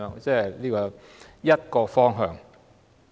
這是其中一個方向。